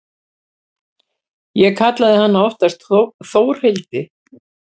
Ég kallaði hana oftast Þórhildi.